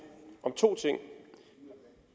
om to ting